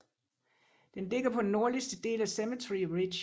Den ligger på den nordligste del af Cemetery Ridge